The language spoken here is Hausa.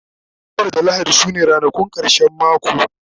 asabar da lahadi sune ranakun karshen mako